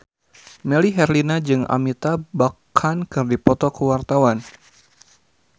Melly Herlina jeung Amitabh Bachchan keur dipoto ku wartawan